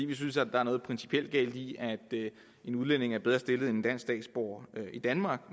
vi synes at der er noget principielt galt i at en udlænding er bedre stillet end en dansk statsborger i danmark